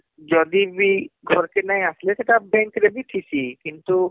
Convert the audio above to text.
ଯଦିବି ଘରକେ ନାଇଁ ଆସଲେ ସେଟା bank ରେ ବି ଠିଁସି କିନ୍ତୁ